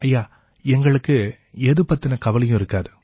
ஐயா எங்களுக்கு எது பத்தின கவலையும் இருக்காது